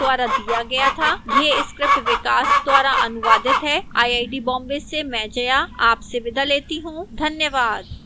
यह स्क्रिप्ट विकास द्वारा अनुवादित है आईआईटी बॉम्बे से मैं जया अब आपसे विदा लेती हूँ धन्यवाद